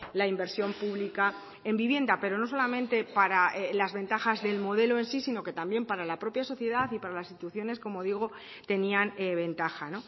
la inversión pública en vivienda pero no solamente para las ventajas del modelo en sí sino que también para la propia sociedad y para las instituciones como digo tenían ventaja